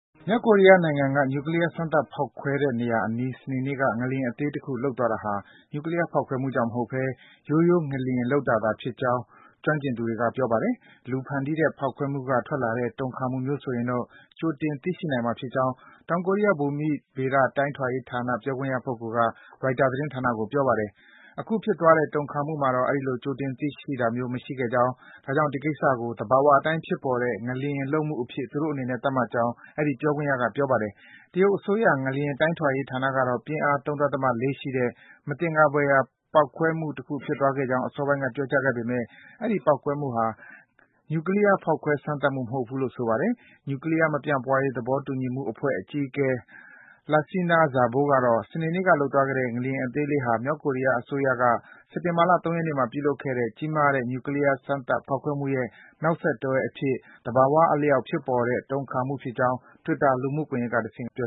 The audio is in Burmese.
မြောက်ကိုရီးယားနိုင်ငံက နျူကလီးယား စမ်းသပ် ဖောက်ခွဲတဲ့နေရာအနီး စနေနေ့က ငလျင်အသေးတခု လှုပ်သွားတာဟာ နျူကလီးယား ဖောက်ခွဲမှုကြောင့်မဟုတ်ဘဲ ရိုးရိုး ငလျင်လှုပ်တာသာ ဖြစ်နိုင်ကြောင်း ကျွမ်းကျင်သူတွေက ပြောပါတယ်။ လူဖန်တီးတဲ့ ပေါက်ကွဲမှုက ထွက်လာတဲ့ တုံခါမှုမျိုးဆိုရင်တော့ ကြိုတင် သိရှိနိုင်မှာ ဖြစ်ကြောင်း တောင်ကိုရီးယား ဘူမိဗေဒ တိုင်းထွာရေးဌာန ပြောခွင့်ရပုဂ္ဂိုလ်က ရိုက်တာ သတင်းဌာနကို ပြောပါတယ်။ အခုဖြစ်သွားတဲ့ တုံခါမှုမှာတော့ အဲဒီလို ကြိုတင် သိရှိတာမျိုး မရှိခဲ့ကြောင်း၊ ဒါကြောင့် ဒီကိစ္စကို သဘာဝအတိုင်း ဖြစ်ပေါ်တဲ့ ငလျင်လှုပ်မှုအဖြစ် သူတို့အနေနဲ့ သတ်မှတ်ကြောင်း အဲဒီ ပြောခွင့်ရက ပြောပါတယ်။ တရုတ်အစိုးရ ငလျင် တိုင်းထွာရေး ဌာနကတော့ ပြင်းအား ၃.၄ ရှိတဲ့ မသင်္ကာဘွယ်ရာ ပေါက်ကွဲမှုတခု ဖြစ်ပွားခဲ့ကြောင်း အစောပိုင်းက ပြောကြားခဲ့ပေမယ့် အဲဒီ ပေါက်ကွဲမှုဟာ နျူကလီးယား ဖောက်ခွဲ စမ်းသပ်မှု မဟုတ်ဘူးလို့ ဆိုပါတယ်။ နျူကလီးယား မပြန့်ပွားရေး သဘောတူညီမှုအဖွဲ့အကြီးအကဲ Lassina Zerbo ကတော့ - စနေနေ့က လှုပ်သွားခဲ့တဲ့ ငလျင်အသေးလေးဟာ မြောက်ကိုရီးယား အစိုးရက စက်တင်ဘာလ ၃ ရက်နေ့မှာ ပြုလုပ်ခဲ့တဲ့ အကြီးမားဆုံး နျူကလီးယား စမ်းသပ် ဖောက်ခွဲမှုရဲ့ နောက်ဆက်တွဲအဖြစ် သဘာဝအလျောက် ဖြစ်ပေါ်တဲ့ တုံခါမှုဖြစ်ကြောင်း Twitter လူမှုကွန်ယက်ကတဆင့် ပြ